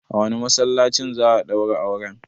A wane masallacin za a daura auren?